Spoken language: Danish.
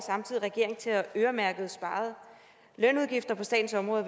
regeringen til at øremærke sparede lønudgifter på statens område